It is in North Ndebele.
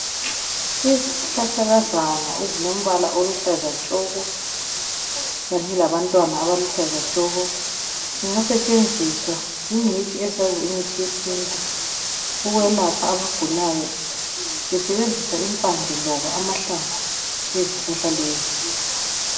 Izihlahlakazana ezilombala oluhlaza tshoko kanye labantwana abaluhlaza tshoko zingasetshenziswa zingcitshi ezazi imithi yesintu ukwelapha abagulayo besebenzisa impande loba amahlamvu ezihlahla lezi.